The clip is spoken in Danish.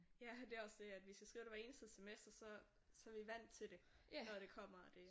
Ja det er også det at vi skal skrive det hvert eneste semester så så vi vandt til det når det kommer og det